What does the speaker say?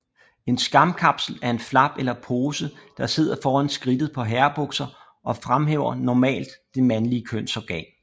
En skamkapsel er en flap eller pose der sidder foran skridtet på herrebukser og fremhæver normalt det mandlige kønsorgan